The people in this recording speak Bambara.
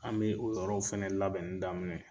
An be o yɔrɔw fɛnɛ labɛnni daminɛ